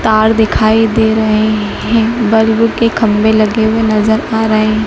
तार दिखाई दे रहे हैं बल्ब के खंभे लगे हुए नजर आ रहे--